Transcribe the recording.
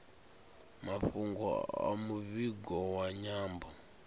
mafhungo a muvhigo wa nyambo